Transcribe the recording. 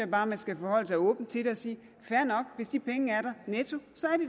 bare man skal forholde sig åbent til det og sige fair nok hvis de penge er der netto så